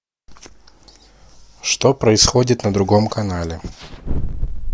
что происходит на другом канале